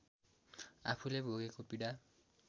आफूले भोगेको पीडा